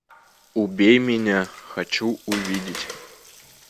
убей меня хочу увидеть